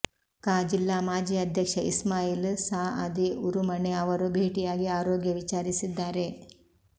ಕ ಜಿಲ್ಲಾ ಮಾಜಿ ಅಧ್ಯಕ್ಷ ಇಸ್ಮಾಯಿಲ್ ಸಅದಿ ಉರುಮಣೆ ಅವರು ಭೇಟಿಯಾಗಿ ಆರೋಗ್ಯ ವಿಚಾರಿಸಿದ್ದಾರೆ